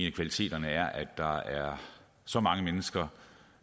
af kvaliteterne er at der er så mange mennesker